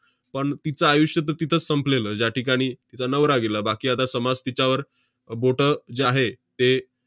पण तिचं आयुष्य तर तिथंच संपलेलं, ज्याठिकाणी तिचा नवरा गेला. बाकी आता समाज तिच्यावर अह बोटं जे आहे, ते